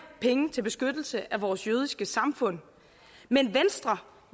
penge til beskyttelse af vores jødiske samfund men venstre